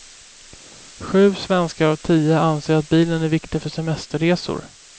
Sju svenskar av tio anser att bilen är viktig för semesterresor.